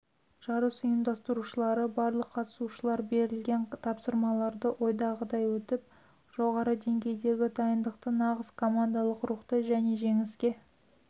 жарыс ұйымдастырушылары барлық қатысушылар берілген тапсырмаларды ойдағыдай өтіп жоғары деңгейдегі дайындықты нағыз командалық рухты және жеңіске